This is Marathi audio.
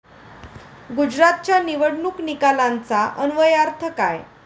गुजरातच्या निवडणूक निकालांचा अन्वयार्थ काय?